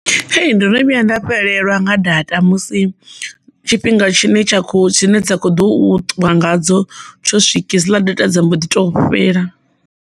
Ee, ndono vhuya nda fhelelwa nga data musi tshifhinga tshine tsha kho dzine dza khou ṱuwa ngadzo tsho swiki hedziḽa data dza mbo ḓi to fhela.